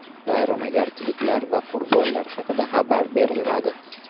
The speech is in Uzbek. Vayronagarchiliklar va qurbonlar haqida xabar berilmadi.